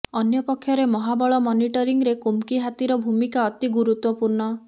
ଅନ୍ୟପକ୍ଷରେ ମହାବଳ ମନିଟରିଂରେ କୁମ୍କି ହାତୀର ଭୂମିକା ଅତି ଗୁରୁତ୍ବପୂର୍ଣ୍ଣ